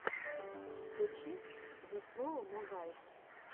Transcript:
включи зе слоу мо гайз